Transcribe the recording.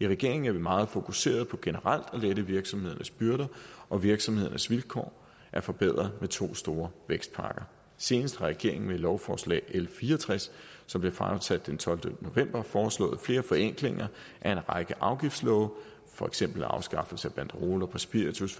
i regeringen er vi meget fokuserede på generelt at lette virksomhedernes byrder og virksomhedernes vilkår er forbedret med to store vækstpakker senest har regeringen med lovforslag l fire og tres som blev fremsat den tolvte november foreslået flere forenklinger af en række afgiftslove og for eksempel er afskaffelse af banderoler på spiritus